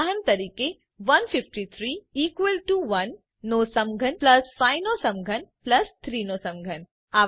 ઉદાહરણ તરીકે 153 equal to 1 નો સમઘન પ્લસ 5 નો સમઘન પ્લસ 3 નો સમઘન